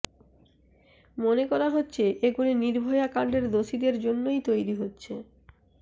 মনে করা হচ্ছে এগুলি নির্ভয়া কাণ্ডের দোষীদের জন্যই তৈরি হচ্ছে